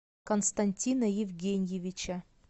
константина евгеньевича